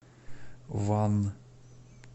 ван